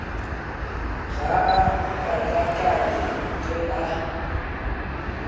ga a katakate ge a